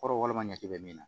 Kɔrɔ walima ɲɛji bɛ min na